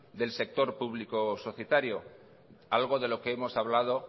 del sector público societario algo de lo que hemos hablado